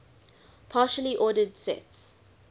partially ordered sets